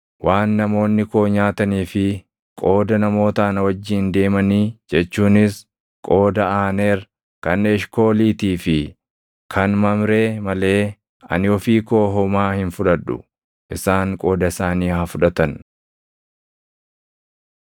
Waan namoonni koo nyaatanii fi qooda namoota ana wajjin deemanii jechuunis qooda Aaneer, kan Eshkooliitii fi kan Mamree malee ani ofii koo homaa hin fudhadhu; isaan qooda isaanii haa fudhatan.”